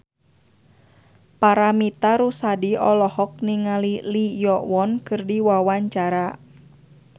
Paramitha Rusady olohok ningali Lee Yo Won keur diwawancara